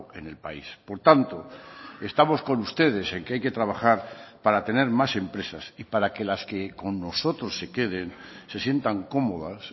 en el país por tanto estamos con ustedes en que hay que trabajar para tener más empresas y para que las que con nosotros se queden se sientan cómodas